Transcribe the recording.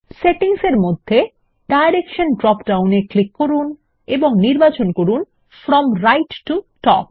settings এর মধ্যে direction drop down এ ক্লিক করুন এবং নির্বাচন করুন ফ্রম রাইট টো টপ